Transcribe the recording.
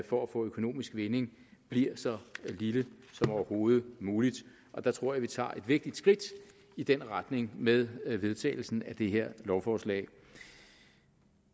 for at få økonomisk vinding bliver så lille som overhovedet muligt og der tror jeg vi tager et vigtigt skridt i den retning med vedtagelsen af det her lovforslag